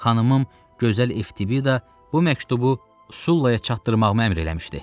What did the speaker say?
Xanımım gözəl Eftibida bu məktubu Sullaya çatdırmağıma əmr eləmişdi.